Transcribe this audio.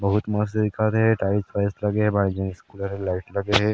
बहुत मस्त दिखत हे टाइल्स वाइल्स लगे हे बाहिर में लाइट लगे हे ।